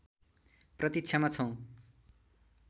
प्रतीक्षामा छौँ